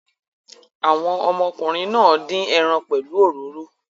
Àwọn ọmọkùnrin náà dín ẹran pẹ̀lú òróró.